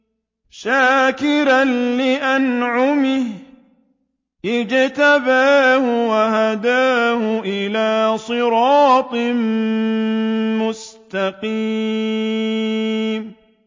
شَاكِرًا لِّأَنْعُمِهِ ۚ اجْتَبَاهُ وَهَدَاهُ إِلَىٰ صِرَاطٍ مُّسْتَقِيمٍ